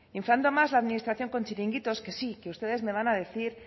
inflando más la administración con chiringuitos que sí que ustedes me van a decir